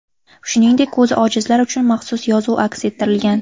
Shuningdek, ko‘zi ojizlar uchun maxsus yozuv aks ettirilgan.